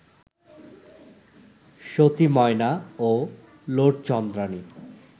সতি ময়না ও লোরচন্দ্রানী